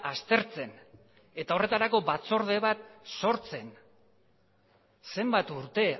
aztertzen eta horretarako batzorde bat sortzen zenbat urte